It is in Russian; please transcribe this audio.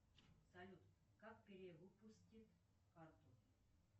салют как перевыпустить карту